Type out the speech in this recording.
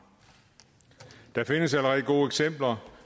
der findes allerede gode eksempler